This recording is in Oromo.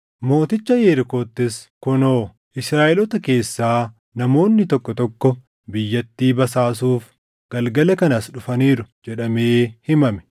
Mooticha Yerikoottis, “Kunoo! Israaʼeloota keessaa namoonni tokko tokko biyyattii basaasuuf galgala kana as dhufaniiru” jedhamee himame.